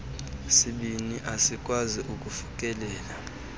sibini asikwazi kufikelela